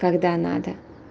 когда надо